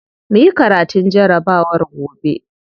Muyi karatun jarabawar gobe.